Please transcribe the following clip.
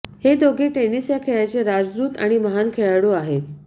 हे दोघे टेनिस या खेळाचे राजदूत आणि महान खेळाडू आहेत